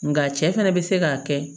Nga cɛ fana bɛ se k'a kɛ